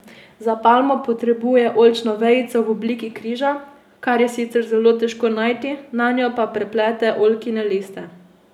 Za palmo potrebuje oljčno vejico v obliki križa, kar je sicer zelo težko najti, nanjo pa preplete oljkine liste.